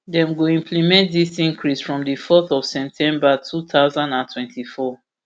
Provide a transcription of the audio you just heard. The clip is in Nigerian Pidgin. dem go implement dis increase from di fourth of september two thousand and twenty-four